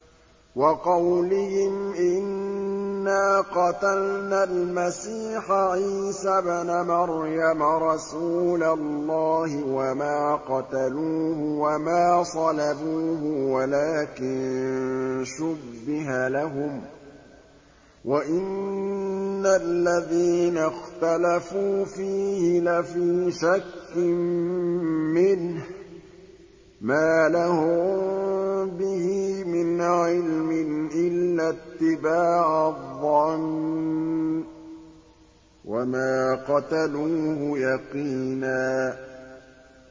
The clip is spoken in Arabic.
وَقَوْلِهِمْ إِنَّا قَتَلْنَا الْمَسِيحَ عِيسَى ابْنَ مَرْيَمَ رَسُولَ اللَّهِ وَمَا قَتَلُوهُ وَمَا صَلَبُوهُ وَلَٰكِن شُبِّهَ لَهُمْ ۚ وَإِنَّ الَّذِينَ اخْتَلَفُوا فِيهِ لَفِي شَكٍّ مِّنْهُ ۚ مَا لَهُم بِهِ مِنْ عِلْمٍ إِلَّا اتِّبَاعَ الظَّنِّ ۚ وَمَا قَتَلُوهُ يَقِينًا